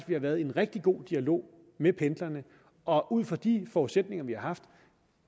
vi har været i en rigtig god dialog med pendlerne og ud fra de forudsætninger vi har haft